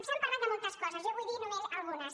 s’ha parlat de moltes coses jo en vull dir només algunes